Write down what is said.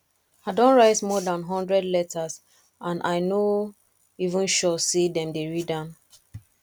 i don write more dan hundred letters and i no even sure say dem dey read am